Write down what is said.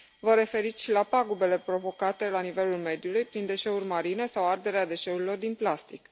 Vă referiți și la pagubele provocate la nivelul mediului prin deșeuri marine sau arderea deșeurilor din plastic.